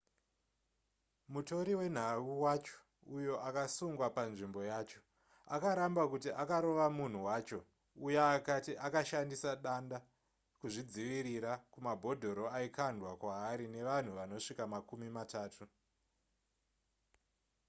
mutori wenhau wacho uyo akasungwa panzvimbo yacho akaramba kuti akarova munhu wacho uya akati akashandisa danda kuzvidzivirira kumabhodhoro aikwandwa kwaari nevanhu vanosvika makumi matatu